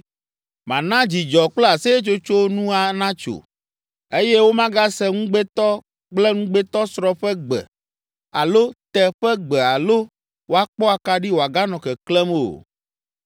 Mana dzidzɔ kple aseyetsotso nu natso eye womagase ŋugbetɔ kple ŋugbetɔsrɔ̃ ƒe gbe alo te ƒe gbe alo woakpɔ akaɖi wòaganɔ keklẽm o.